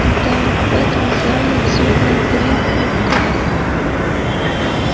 да в этом зале сотни три кубков